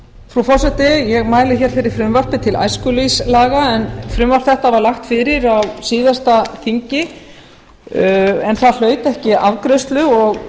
frú forseti ég mæli hér fyrir frumvarpi til æskulýðslaga en frumvarp þetta var lagt fyrir á síðasta þingi en það hlaut ekki afgreiðslu og